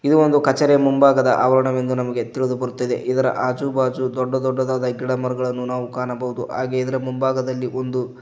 ಇದು ಒಂದು ಕಚೇರಿಯ ಮುಂಭಾಗದ ಆವರಣವೆಂದು ನಮಗೆ ತಿಳಿದು ಬರುತ್ತದೆ ಇದರ ಆಜು ಬಾಜು ದೊಡ್ಡ ದೊಡ್ಡದಾದ ಗಿಡಮರಗಳನ್ನು ನಾವು ಕಾಣಬಹುದು ಹಾಗೆ ಇದರ ಮುಂಭಾಗದಲ್ಲಿ ಒಂದು--